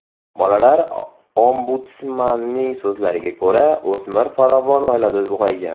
Bolalar ombudsmanining so‘zlariga ko‘ra, o‘smir farovon oilada ulg‘aygan.